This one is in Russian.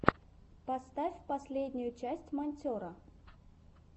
поставь последнюю часть монтера